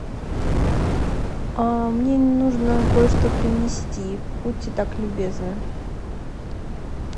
мне нужно кое что принести будьте так любезны